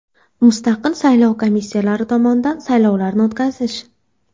Mustaqil saylov komissiyalari tomonidan saylovlarni o‘tkazish.